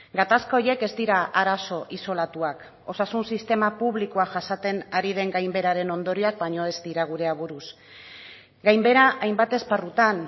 gatazka horiek ez dira arazo isolatuak osasun sistema publikoa jasaten ari den gainbeheraren ondorioak baino ez dira gure aburuz gainbehera hainbat esparrutan